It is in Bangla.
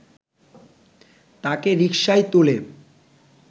তাঁকে রিকশায় তুলে